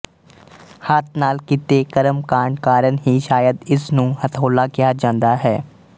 ਹੱਥ ਨਾਲ ਕੀਤੇ ਕਰਮਕਾਂਡ ਕਾਰਨ ਹੀ ਸਾ਼ਇਦ ਇਸ ਨੂੰ ਹਥੌਲਾ ਕਿਹਾ ਜਾਂਦਾ ਹੈ